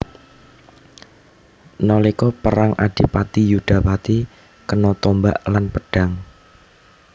Nalika perang Adipati Yudapati kena tombak lan pedhang